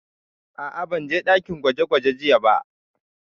A'a, ban je ɗakin gwaje gwaje jiya ba